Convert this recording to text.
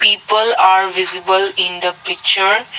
people are visible in the picture.